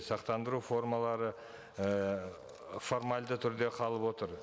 сақтандыру формалары ііі формальді түрде қалып отыр